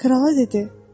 Krala dedi.